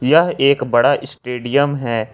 यह एक बड़ा स्टेडियम है।